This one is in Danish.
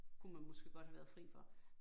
Kunne man måske godt have været fri for